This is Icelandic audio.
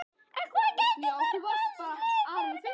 En hvað gætu mörg mannslíf bjargast?